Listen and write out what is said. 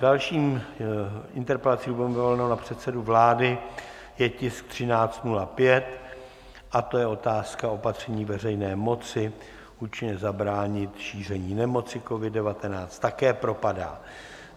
Další interpelací Lubomíra Volného na předsedu vlády je tisk 1305, a to je otázka opatření veřejné moci - účinně zabránit šíření nemoci COVID-19, také propadá.